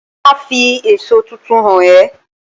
Màá fi èso tuntun hàn é